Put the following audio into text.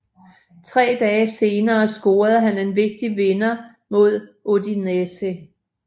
Tre dage senere scorede han en vigtig vinder mod Udinese